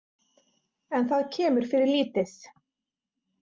En það kemur fyrir lítið.